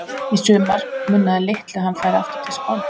Í sumar munaði litlu að hann færi aftur til Spánar.